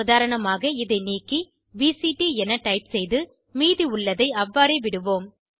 உதாரணமாக இதை நீக்கி பிசிடி எனத் டைப் செய்து மீதி உள்ளதை அவ்வாறே விடுவோம்